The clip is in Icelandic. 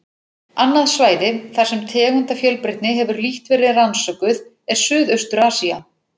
Annað svæði, þar sem tegundafjölbreytni hefur lítt verið rannsökuð, er Suðaustur-Asía.